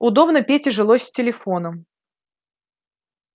удобно пете жилось с телефоном